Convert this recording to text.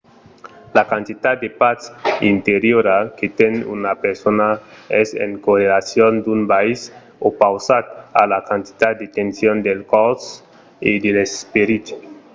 la quantitat de patz interiora que ten una persona es en correlacion d'un biais opausat a la quantitat de tension del còrs e de l’esperit